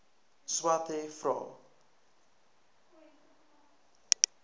swathe vra